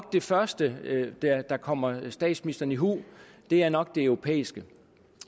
det første der kommer statsministeren i hu er nok det europæiske